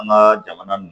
An ka jamana n